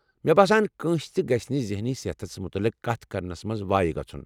مے٘ باسان كٲنٛسہِ تہِ گژھِ نہٕ ذہنی صحتس مُتعلق کتھ کرنس منٛز وایہِ گژُھن ۔۔